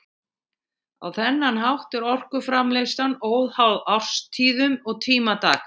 Á þennan hátt er orkuframleiðslan óháð árstíðum og tíma dags.